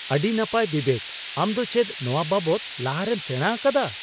ᱟᱹᱰᱤ ᱱᱟᱯᱟᱭ ᱵᱤᱵᱮᱠ ! ᱟᱢ ᱫᱚ ᱪᱮᱫ ᱱᱚᱣᱟ ᱵᱟᱵᱚᱫ ᱞᱟᱦᱟᱨᱮᱢ ᱥᱮᱸᱲᱟ ᱟᱠᱟᱫᱟ ?